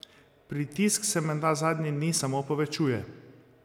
Pritisk se menda zadnje dni samo povečuje.